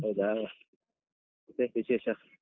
ಹೌದಾ ಮತ್ತೆ ವಿಶೇಷ?